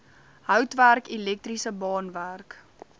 houtwerk elektriese baanwerk